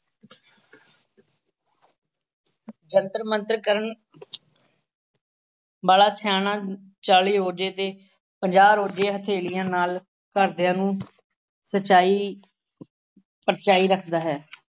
ਜੰਤਰ ਮੰਤਰ ਕਰਨ ਵਾਲਾ ਸਿਆਣਾ ਚਾਲੀ ਰੋਜ਼ੇ ਤੇ, ਪੰਜਾਹ ਰੋਜ਼ੇ ਹਥੇਲੀਆਂ ਨਾਲ ਘਰਦਿਆਂ ਨੂੰ ਸੱਚਾਈ ਪਰਚਾਈ ਰੱਖਦਾ ਹੈ।